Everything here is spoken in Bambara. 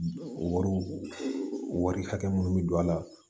O wariw wari hakɛ minnu bɛ don a la